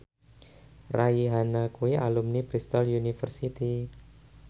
Rihanna kuwi alumni Bristol university